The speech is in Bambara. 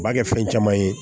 U b'a kɛ fɛn caman ye